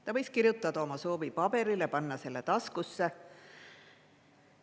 Ta võis kirjutada oma soovi paberile ja panna selle taskusse.